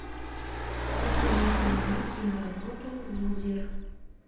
посоветуй мне киноработу лузер